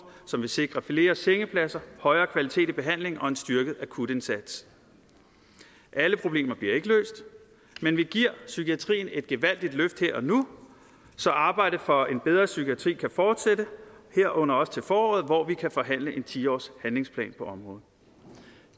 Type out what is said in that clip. som vil sikre flere sengepladser højere kvalitet i behandlingen og en styrket akutindsats alle problemer bliver ikke løst men vi giver psykiatrien et gevaldigt løft her og nu så arbejdet for en bedre psykiatri kan fortsætte herunder også til foråret hvor vi kan forhandle en ti årshandlingsplan på området